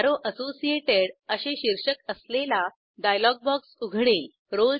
arrow associated असे शीर्षक असलेला डायलॉग बॉक्स उघडेल